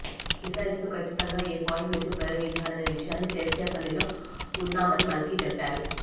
missiles ను కచ్చితంగా ఏ పాయింట్ నుంచి ప్రయోగించారనే విషయాన్ని తేల్చే పనిలో ఉన్నామని మల్కి తెలిపారు